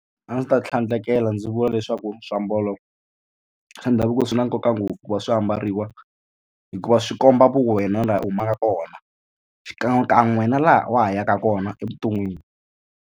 A ndzi ta tlhandlekela ndzi vula leswaku swiambalo swa ndhavuko swi na nkoka ngopfu ku va swi ambariwa hikuva swi komba vu wena laha u humaka kona xikan'wekan'we na laha wa ha yaka kona evuton'wini.